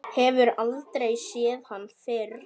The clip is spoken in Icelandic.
Hefur aldrei séð hann fyrr.